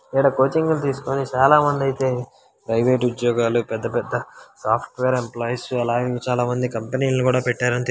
ఇడ కోచింగ్ లు తెసుకొని చాలమంది అయితే ప్రైవేట్ ఉద్యోగాలు పెద్ద పెద్ద సాఫ్ట్వేర్ ఎంప్లాయూస్ అల ఇంకా చాలామంది కంపెనీ లను కూడ పెట్టారని తె--